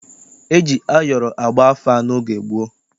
E ji ayọrọ agba afa n'oge gboo.